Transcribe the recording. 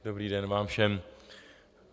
Dobrý den vám všem.